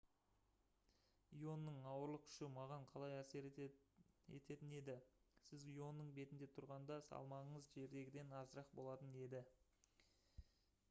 ионың ауырлық күші маған қалай әсер ететін еді сіз ионың бетінде тұрғанда салмағыңыз жердегіден азырақ болатын еді